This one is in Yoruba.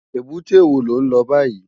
Ébùté wó ló n lò bàyí?